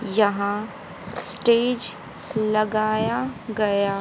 यहां स्टेज लगाया गया--